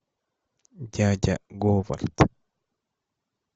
дядя говард